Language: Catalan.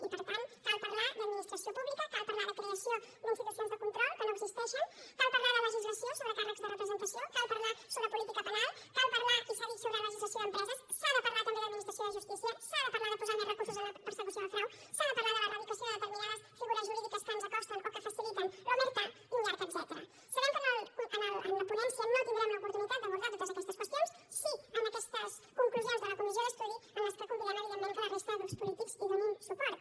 i per tant cal parlar d’administració pública cal parlar de creació d’institucions de control que no existeixen cal parlar de legislació sobre càrrecs de representació cal parlar sobre política penal cal parlar i s’ha dit sobre legislació d’empreses s’ha de parlar també d’administració de justícia s’ha de parlar de posar més recursos en la persecució del frau s’ha de parlar de l’erradicació de determinades figures jurídiques que ens acosten o que faciliten l’sabem que en la ponència no tindrem l’oportunitat d’abordar totes aquestes qüestions sí en aquestes conclusions de la comissió d’estudi a les que convidem evidentment que la resta de grups polítics hi donin suport